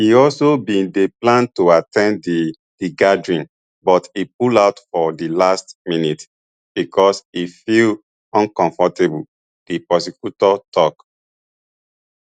e also bin dey plan to at ten d di di gathering but e pull out for di last minute becos e feel uncomfortable di prosecutor tok